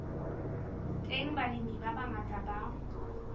teng balemi ba bangata ba